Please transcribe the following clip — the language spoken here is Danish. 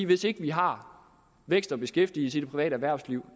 hvis ikke vi har vækst og beskæftigelse i det private erhvervsliv